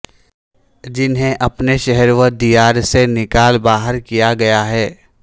جنہیں اپنے شہر و دیار سے نکال باہر کیا گیا ہے